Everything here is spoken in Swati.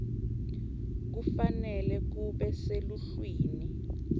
kufanele kube seluhlwini